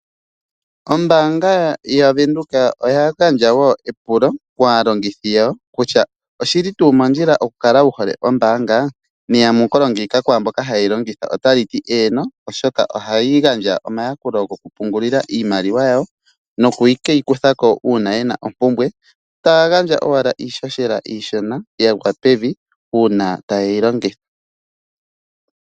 Ombaanga yaVenduka oya gandja wo epulo kaalongithi yawo kutya oshili tuu mondjila oku kala wuhole ombaanga? Neya mukulo ngiika kwaamboka haye yilongitha ota li ti eeeno oshoka ohayi gandja omayakulo goku pungulila iimaliwa yawo noku keyi kuthako uuna yena ompumbwe , tayaga ndja owala iishoshela iishona yagwa pevi uuna taye yilongitha.